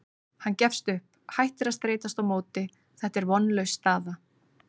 Hann gefst upp, hættir að streitast á móti, þetta er vonlaus staða.